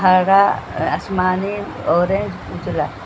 हरा आसमानी ऑरेंज उजला --